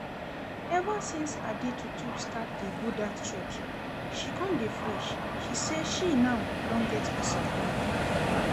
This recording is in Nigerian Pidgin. Ever since Adetutu start dey go dat church she come dey fresh, she say she now get peace of mind